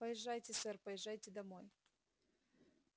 поезжайте сэр поезжайте домой